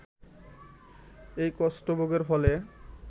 এই কষ্ট ভোগের ফলে